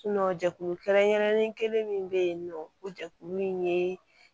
jɛkulu kɛrɛnkɛrɛnlen kelen min bɛ yen nɔ o jɛkulu in ye